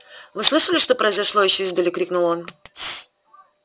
вы слышали что произошло ещё издали крикнул он